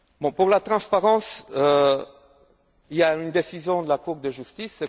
Pour la transparence, il y a une décision de la Cour de justice.